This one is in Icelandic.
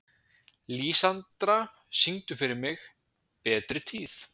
Lísandra, syngdu fyrir mig „Betri tíð“.